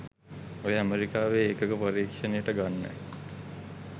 ඔය ඇමරිකාවේ එකක පරීක්ෂනෙට ගන්න